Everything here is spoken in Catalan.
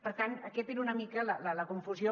per tant aquesta era una mica la confusió